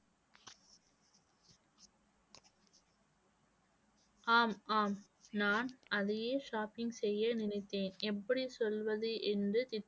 ஆம் ஆம். நான் அதையே shopping செய்ய நினைத்தேன் எப்படி சொல்வது என்று